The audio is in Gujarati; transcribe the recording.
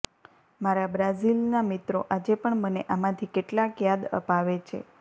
મારા બ્રાઝિલના મિત્રો આજે પણ મને આમાંથી કેટલાક યાદ અપાવે છે